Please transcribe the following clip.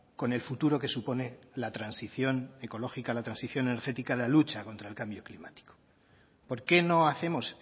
con el futuro que supone la transición ecológica la transición energética la lucha contra el cambio climático por qué no hacemos